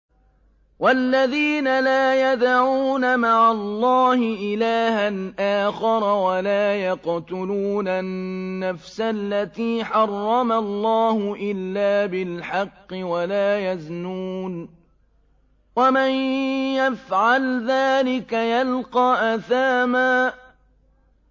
وَالَّذِينَ لَا يَدْعُونَ مَعَ اللَّهِ إِلَٰهًا آخَرَ وَلَا يَقْتُلُونَ النَّفْسَ الَّتِي حَرَّمَ اللَّهُ إِلَّا بِالْحَقِّ وَلَا يَزْنُونَ ۚ وَمَن يَفْعَلْ ذَٰلِكَ يَلْقَ أَثَامًا